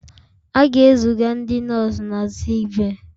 A ga-eziga ndị nọọsụ na sickbay